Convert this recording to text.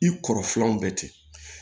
I kɔrɔ filanan bɛ ten